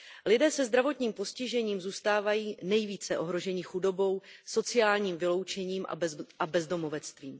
Lidé se zdravotním postižením zůstávají nejvíce ohroženi chudobou, sociálním vyloučením a bezdomovectvím.